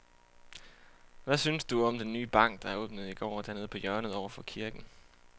Hvad synes du om den nye bank, der åbnede i går dernede på hjørnet over for kirken?